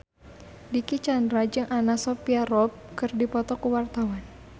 Dicky Chandra jeung Anna Sophia Robb keur dipoto ku wartawan